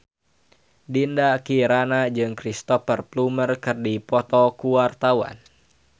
Dinda Kirana jeung Cristhoper Plumer keur dipoto ku wartawan